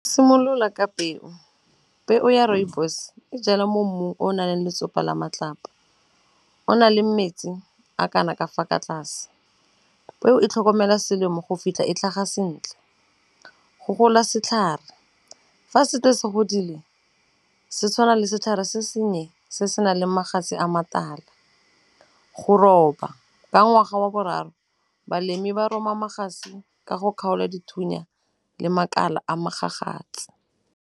Simolola ka peo, peo ya Rooibos e jalwa mo mmung o naleng letsopa la matlapa. O naleng metsi a kana ka fa ka tlase, peo e tlhokomela selemo go fitlha e tlhaga sentle. Go gola setlhare fa setse se godile se tshwana le setlhare se sennye se se naleng magatse a matala. Go roba ka ngwaga wa boraro balemi ba rema mogatse ka go kgaolwa dithunya le makala a mogagatse.